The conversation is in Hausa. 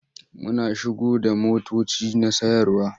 Muna shigo da motoci na sayarwa.